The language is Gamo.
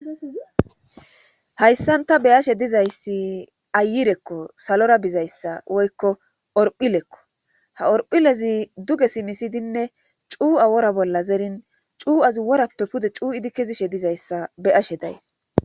hayssanta beyashe dizayssi ayirekko salora bizayssa woykko orphilekko ha orphilezi duge simisidinne cuua wora bolla zerin cu7azi worappe pude cuu7idi kezishe dizayssa beyashe days